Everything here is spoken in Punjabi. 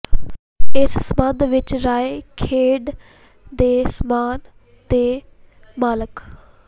ਇਸ ਸਬੰਧ ਵਿਚ ਰਾਏ ਖੇਡ ਦੇ ਸਾਮਾਨ ਦੇ ਮਾਲਕ